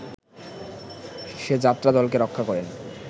সে যাত্রা দলকে রক্ষা করেন